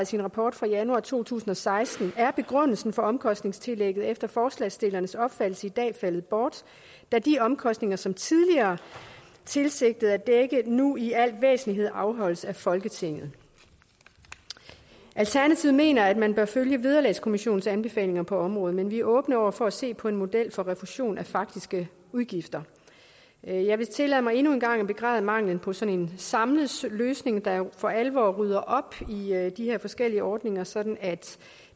sin rapport fra januar to tusind og seksten er begrundelsen for omkostningstillægget efter forslagsstillernes opfattelse i dag faldet bort da de omkostninger som tillægget tidligere tilsigtede at dække nu i al væsentlighed afholdes af folketinget alternativet mener at man bør følge vederlagskommissionens anbefalinger på området men vi er åbne over for at se på en model for en refusion af faktiske udgifter jeg vil tillade mig endnu en gang at begræde manglen på sådan en samlet løsning der for alvor rydder op i de her forskellige ordninger sådan at